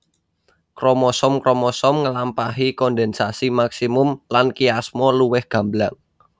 Kromosom kromosom ngelampahi kondensasi maksimum lan kiasma luwih gamblang